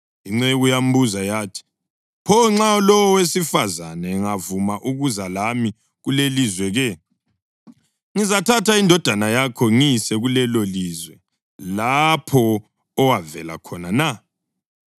Inceku yambuza yathi, “Pho nxa lowo wesifazane engavumi ukuza lami kulelilizwe-ke? Ngizathatha indodana yakho ngiyise kulelolizwe lapho owavela khona na?”